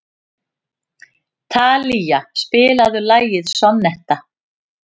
Talía, spilaðu lagið „Sonnetta“.